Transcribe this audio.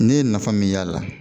Ne ye nafa min y'a la